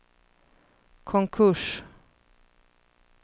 konkurs